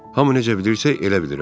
Hamı necə bilirsə, elə bilirəm.